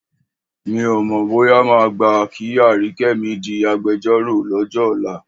Mi ò mọ̀ bóyá máa gbà kí Àríkẹ́ mi di agbejọ́rò lọ́jọ́ ọ̀la.